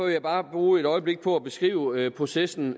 jeg bare bruge et øjeblik på at beskrive processen